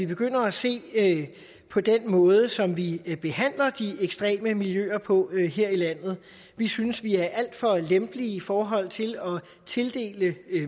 begynder at se på den måde som vi behandler de ekstreme miljøer på her i landet vi synes vi er alt for lempelige i forhold til at tildele